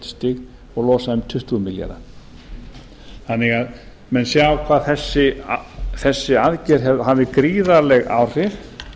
og losa um tuttugu milljarða þannig að menn sjá að þessi aðgerð hafði gríðarleg áhrif